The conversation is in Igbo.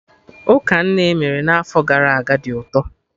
Ụka nne emere n'afọ gara aga dị ụtọ